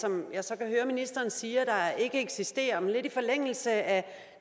som jeg så kan høre ministeren siger ikke eksisterer men lidt i forlængelse af